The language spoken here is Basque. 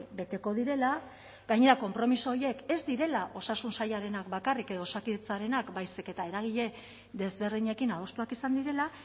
beteko direla gainera konpromiso horiek ez direla osasun sailarenak bakarrik edo osakidetzarenak baizik eta eragile desberdinekin adostuak izan direla